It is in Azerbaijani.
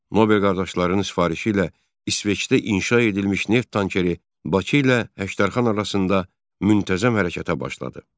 Nobel qardaşlarının sifarişi ilə İsveçdə inşa edilmiş neft tankeri Bakı ilə Həştərxan arasında müntəzəm hərəkətə başladı.